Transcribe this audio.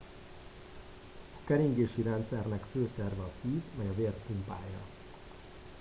a keringési rendszernek fő szerve a szív mely a vért pumpálja